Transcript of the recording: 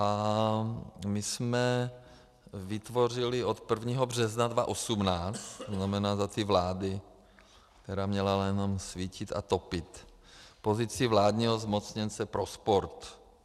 A my jsme vytvořili od 1. března 2018, to znamená za té vlády, která měla jenom svítit a topit, pozici vládního zmocněnce pro sport.